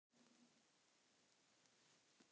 Þau hjón, Jóhanna og